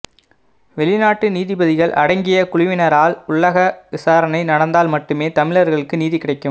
வெளிநாட்டு நீதிபதிகள் அடங்கிய குழுவினரால் உள்ளக விசாரணை நடந்தால் மட்டுமே தமிழர்களுக்கு நீதி கிடைக்கும்